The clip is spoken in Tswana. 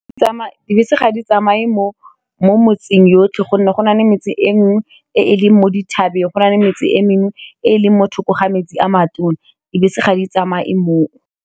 Dibese ga di tsamaye mo metseng yotlhe gonne go nale metse e nngwe e e leng mo dithabeng go nale metse e mengwe e e leng mo thoko ga metsi a matona, dibese ga di tsamaye mo.